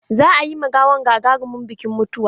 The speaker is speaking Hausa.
Za a yi ma gawan gagarumin bikin mutuwa.